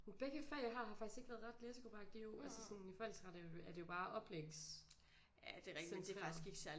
Begge fag jeg har har faktisk ikke været ret læsegruppeagtige jo altså sådan i voldsret er jo er det jo bare oplægs centreret